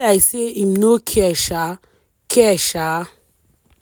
be like say im no care shaaa. care shaaa.